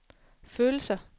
følelser